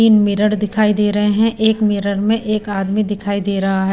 तीन मिरर दिखाई दे रहे हैं एक मिरर में एक आदमी दिखाई दे रहा है।